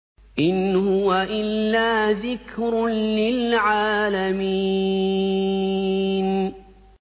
إِنْ هُوَ إِلَّا ذِكْرٌ لِّلْعَالَمِينَ